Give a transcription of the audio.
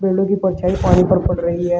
पेड़ों की परछाई पानी पर पड़ रही है।